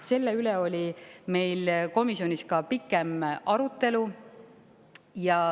Selle üle oli meil komisjonis pikem arutelu.